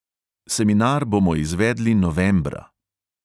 Seminar bomo izvedli novembra.